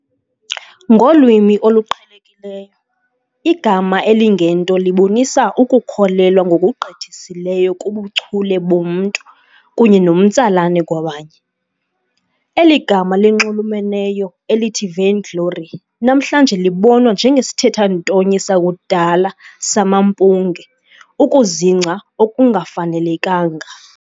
Ngolwimi oluqhelekileyo, igama elingento libonisa ukukholelwa ngokugqithiseleyo kubuchule bomntu kunye nomtsalane kwabanye. Eli gama linxulumeneyo elithi vainglory namhlanje libonwa njengesithethantonye sakudala "samampunge", ukuzingca okungafanelekanga.